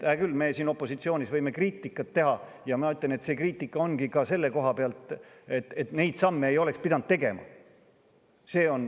Hää küll, me siin opositsioonis võime kriitikat teha ja ma ütlen, et see kriitika ongi ka selle koha pealt, et neid samme ei oleks pidanud tegema.